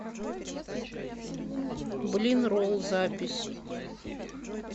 блинролл запись